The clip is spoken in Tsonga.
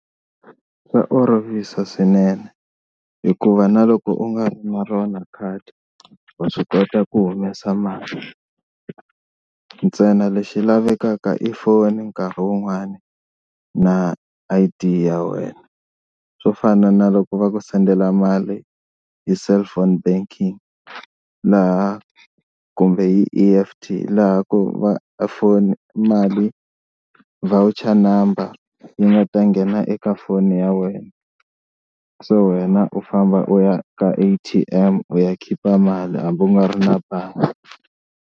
Swa olovisa swinene hikuva na loko u nga ri na rona khadi wa swi kota ku humesa mali ntsena lexi lavekaka i foni nkarhi wun'wani na I_D ya wena, swo fana na loko va ku sendela mali hi cellphone banking laha kumbe hi E_F_T laha ku va foni mali voucher number yi nga ta nghena eka foni ya wena so wena u famba u ya ka A_T_M u ya khipa mali hambi u nga ri na bangi.